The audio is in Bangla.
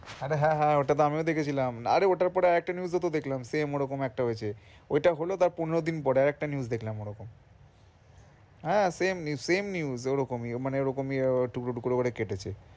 আরে হ্যাঁ হ্যাঁ ওটা তো আমিও দেখেছিলাম আরে ওটার পরে তো আরেকটা News ওতো দেখলাম Same ওরাকম একটা হয়েছে ওটা হলো তাঁর পনেরো দিন পরে আরেকটা News দেখলাম ওরকম। হ্যাঁ Same ne~ same news ওরকমই মানে ওরকমই উহ টুকরো টুকরো করে কেটেছে।